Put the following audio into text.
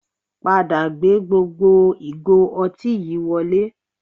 Padà gbé gbogbo ìgò ọtí yìí wọlé